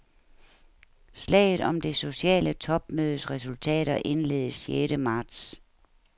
Slaget om det sociale topmødes resultater indledes sjette marts.